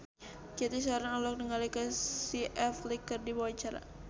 Cathy Sharon olohok ningali Casey Affleck keur diwawancara